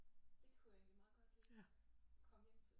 Det kunne jeg egentlig meget godt lide komme hjem til